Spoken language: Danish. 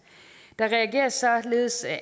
der reageres således